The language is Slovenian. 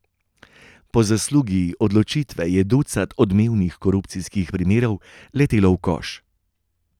Po zaslugi odločitve je ducat odmevnih korupcijskih primerov letelo v koš.